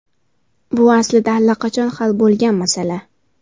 Bu aslida allaqachon hal bo‘lgan masala.